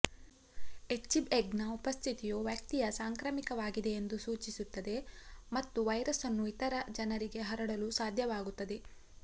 ಎಚ್ಬಿಎಗ್ನ ಉಪಸ್ಥಿತಿಯು ವ್ಯಕ್ತಿಯ ಸಾಂಕ್ರಾಮಿಕವಾಗಿದೆಯೆಂದು ಸೂಚಿಸುತ್ತದೆ ಮತ್ತು ವೈರಸ್ ಅನ್ನು ಇತರ ಜನರಿಗೆ ಹರಡಲು ಸಾಧ್ಯವಾಗುತ್ತದೆ